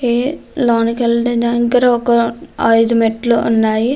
ఏ లోనకి వెళ్ళే దానికి దగ్గర ఒక ఐదు మెట్లు ఉన్నాయి.